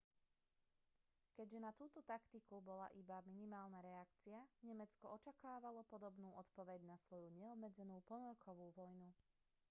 keďže na túto taktiku bola iba minimálna reakcia nemecko očakávalo podobnú odpoveď na svoju neobmedzenú ponorkovú vojnu